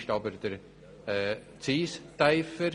Dafür ist der Zins tiefer.